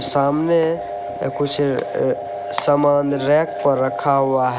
सामने अअ कुछ समान रेंक पर रखा हुआ है।